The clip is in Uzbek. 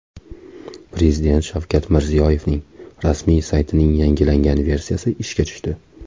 Prezident Shavkat Mirziyoyevning rasmiy saytining yangilangan versiyasi ishga tushdi.